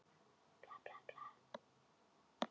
Á Lækjargötu sé ég að ekki er allt með felldu í rokinu.